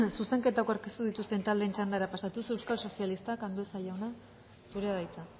zuzenketak aurkeztu dituzten taldeen txandara pasatuz euskal sozialistak andueza jauna zurea da hitza